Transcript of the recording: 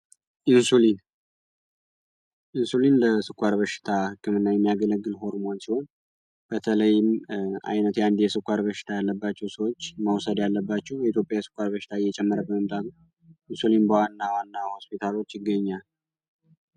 ኢንሱሊን ኢንሱሊን ለስኳር በሽታ ህክምና የሚያገለግል ሆርሞን ሲሆን፤ በተለይም አይነት አንዲ የስኳር በሽታ ያለባቸው ሰዎች መውሰድ ያለባቸሁ የኢትዮጵያ የስኳር በሽታዊ እየጨመረ በመምጣቱ ኢንሱሊን በዋና ዋና ሆስፒታሎች ይገኛል።